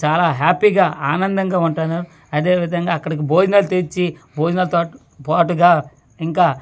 చాలా హ్యాపీ గా ఆనందంగా ఉంటున్నార్ అదే విధంగా అక్కడ భోజనాలు తెచ్చి భోజనాలు తాటు పాటుగా ఇంకా.